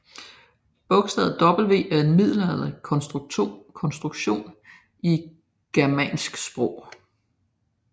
Bogstavet W er en middelalderlig konstruktion i germanske sprog